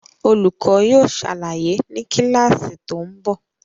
Olùkọ́ yóò ṣàlàyé ni kíláàsì tó ń bọ̀